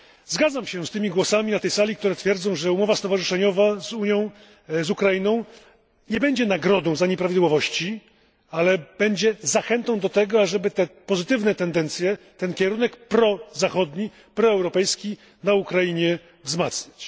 Zgadzam się z tymi głosami na sali, które twierdzą, że umowa stowarzyszeniowa Unii z Ukrainą nie będzie nagrodą za nieprawidłowości, ale będzie zachętą do tego, aby te pozytywne tendencje, ten kierunek prozachodni, proeuropejski na Ukrainie wzmacniać.